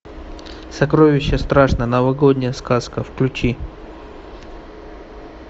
сокровище страшно новогодняя сказка включи